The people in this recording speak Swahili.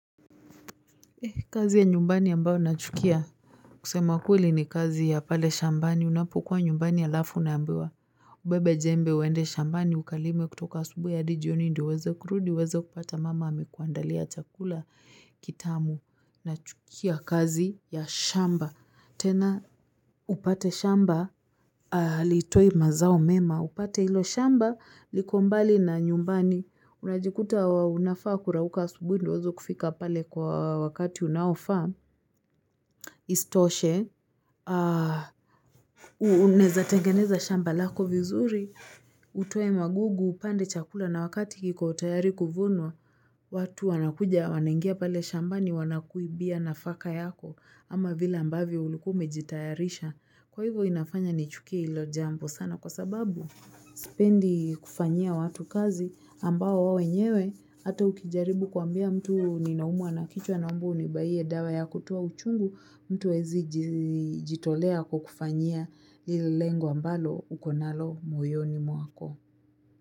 Kazi ya nyumbani ambao nachukia kusema kweli ni kazi ya pale shambani. Unapokua nyumbani alafu una ambiwa. Ubebe jembe uende shambani ukalime kutoka asubuhi hadi jioni ndio uweze kurudi. Uweze kupata mama amekuandalia chakula kitamu nachukia kazi ya shamba. Tena upate shamba haliitoi mazao mema. Upate hilo shamba liko mbali na nyumbani. Unajikuta unafaa kurauka asubuhi ndio uweze kufika pale kwa wakati unaofaa isitoshe unaeza tengeneza shamba lako vizuri utoe magugu upande chakula na wakati kiko tayari kuvunwa watu wanakuja wanaingia pale shambani wanakuibia nafaka yako ama vile ambavyo ulikuwa umejitayarisha. Kwa hivyo inafanya nichukie hilo jambo sana kwa sababu sipendi kufanyia watu kazi ambao wao wenyewe hata ukijaribu kuambia mtu ninaumwa na kichwa naomba unibaie dawa ya kutoa uchungu mtu hawezi jitolea kukufanyia ile lengo ambalo uko nalo moyoni mwako.